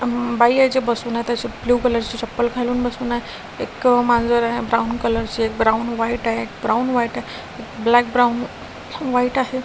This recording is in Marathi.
अम बाई आजी बसून आहेत अशे ब्लू कलरचे चप्पल घालून बसून आहे एक मांजर आहे ब्राउन कलरचे ब्राउन व्हाईट आहे एक ब्राउन व्हाईट आहे ब्लॅक ब्राउन व्हाईट आहे.